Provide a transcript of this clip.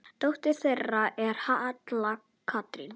Dóttir þeirra er Halla Katrín.